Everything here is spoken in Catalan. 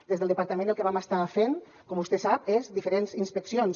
des del departament el que vam estar fent com vostè sap són diferents inspeccions